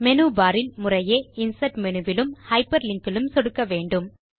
menu bar இல் முறையே insert menu விலும் ஹைப்பர்லிங்க் இலும் சொடுக்கவேண்டும்